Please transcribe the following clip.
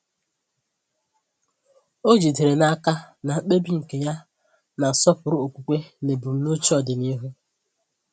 Ọ jidere n’aka na mkpebi nke ya na-asọpụrụ okwukwe na ebumnuche ọdịnihu.